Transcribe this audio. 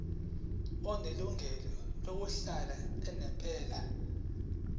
onelungelo lokuhlala unomphela